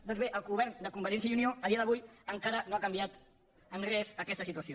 doncs bé el govern de convergència i unió a dia d’avui encara no ha canviat en res aquesta situació